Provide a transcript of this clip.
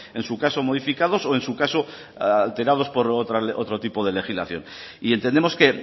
en su caso modificados o en su caso alterados por otro tipo de legislación y entendemos que